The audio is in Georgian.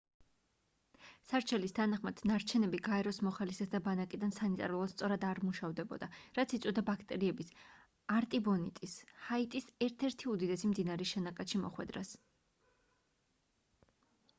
სარჩელის თანახმად ნარჩენები გაეროს მოხალისეთა ბანაკიდან სანიტარულად სწორად არ მუშავდებოდა რაც იწვევდა ბაქტერიების არტიბონიტის ჰაიტის ერთ-ერთი უდიდესი მდინარის შენაკადში მოხვედრას